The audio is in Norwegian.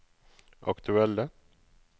aktuelle